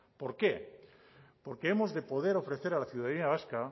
por qué porque hemos de poder ofrecer a la ciudadanía vasca